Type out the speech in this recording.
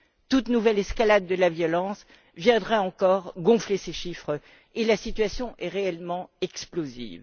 Toute nouvelle escalade de la violence viendrait encore gonfler ces chiffres, et la situation est réellement explosive.